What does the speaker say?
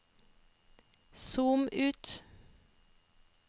zoom ut